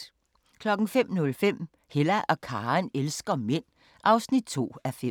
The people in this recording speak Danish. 05:05: Hella og Karen elsker mænd (2:5)